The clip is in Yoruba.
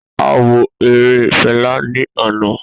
A wo ere Fẹla ni ana.